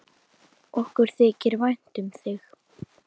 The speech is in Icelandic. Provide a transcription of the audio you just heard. Okkur þykir vænt um þig.